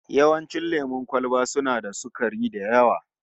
Yawancin lemon kwalba suna da sukari da yawa